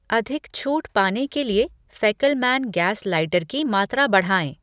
अधिक छूट पाने के लिए फ़ैकेलमैन गैस लाइटर की मात्रा बढ़ाएँ।